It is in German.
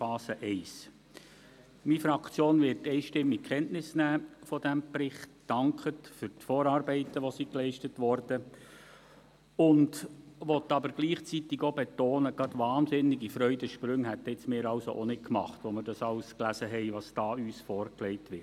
Meine Fraktion wird von diesem Bericht einstimmig Kenntnis nehmen, dankt für die geleisteten Vorarbeiten und will gleichzeitig aber auch betonen, dass wir auch nicht gerade wahnsinnige Freudensprünge machten, als wir all das lasen, was uns da vorgelegt wurde.